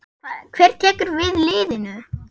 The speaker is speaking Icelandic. Hver tekur við liðinu?